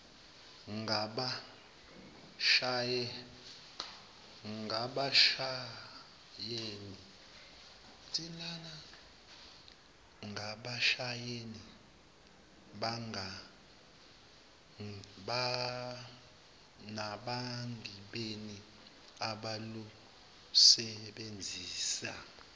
ngabashayeli nabagibeli abalusebenzisa